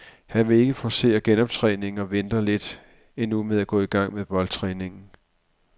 Han vil ikke forcere genoptræningen og venter lidt endnu med at gå i gang med boldtræningen.